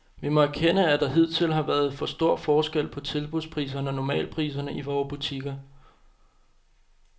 Vi må erkende, at der hidtil har været for stor forskel på tilbudspriserne og normalpriserne i vore butikker.